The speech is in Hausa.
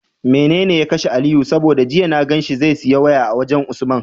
Mene ya kashe aliyu? saboda jiya na ganshi zai siya waya a wajan usman